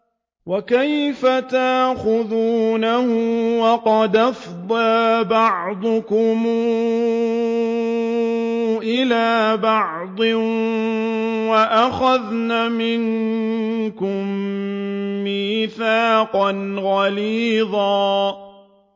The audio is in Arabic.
وَكَيْفَ تَأْخُذُونَهُ وَقَدْ أَفْضَىٰ بَعْضُكُمْ إِلَىٰ بَعْضٍ وَأَخَذْنَ مِنكُم مِّيثَاقًا غَلِيظًا